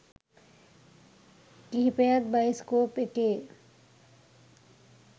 කිහිපයත් bioscope එකේ